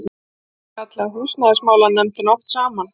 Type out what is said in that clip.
Magnús kallaði húsnæðismálanefndina oft saman.